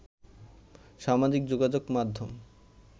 সামাজিক যোগাযোগ মাধ্যম